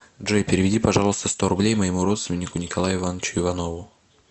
джой переведи пожалуйста сто рублей моему родственнику николаю ивановичу иванову